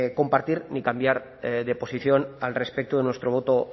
compartir ni cambiar de posición al respecto de nuestro voto